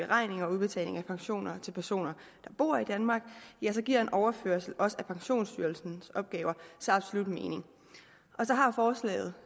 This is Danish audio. beregning og udbetaling af pensioner til personer der bor i danmark giver en overførsel også af pensionsstyrelsens opgaver så absolut mening så har forslaget